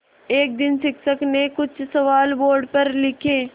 एक दिन शिक्षक ने कुछ सवाल बोर्ड पर लिखे